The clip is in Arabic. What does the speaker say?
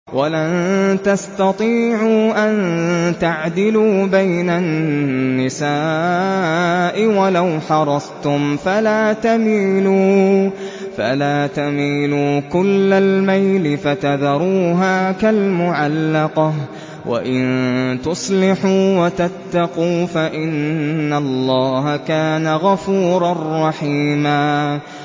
وَلَن تَسْتَطِيعُوا أَن تَعْدِلُوا بَيْنَ النِّسَاءِ وَلَوْ حَرَصْتُمْ ۖ فَلَا تَمِيلُوا كُلَّ الْمَيْلِ فَتَذَرُوهَا كَالْمُعَلَّقَةِ ۚ وَإِن تُصْلِحُوا وَتَتَّقُوا فَإِنَّ اللَّهَ كَانَ غَفُورًا رَّحِيمًا